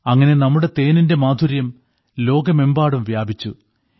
അങ്ങനെ നമ്മുടെ തേനിന്റെ മാധുര്യം ലോകമെമ്പാടും വ്യാപിച്ചു